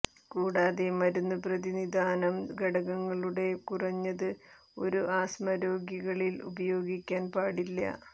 കൂടാതെ മരുന്ന് പ്രതിനിധാനം ഘടകങ്ങളുടെ കുറഞ്ഞത് ഒരു ആസ്മ രോഗികളിൽ ഉപയോഗിക്കാൻ പാടില്ല